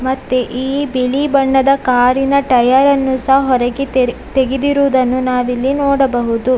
ಮತ್ತೆ ಈ ಬಿಲೀ ಬಣ್ಣದ ಕಾರಿನ ಟಯರನ್ನು ಸ ಹೊರಗೆ ತೆರೆ ತೆಗೆದಿರುವುದನ್ನು ನಾವಿಲ್ಲಿ ನೋಡಬಹುದು.